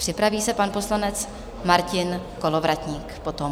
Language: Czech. Připraví se pan poslanec Martin Kolovratník potom.